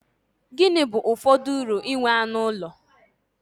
Gịnị bụ ụfọdụ uru nke inwe anụ ụlọ?